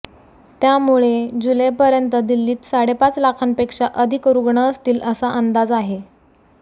त्यामुळे जुलैपर्यंत दिल्लीत साडेपाच लाखांपेक्षा अधिक रुग्ण असतील असा अंदाज आहे